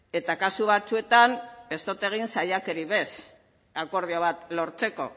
eta kasu batzuetan ez dut egin saiakerarik ere ez akordio bat lortzeko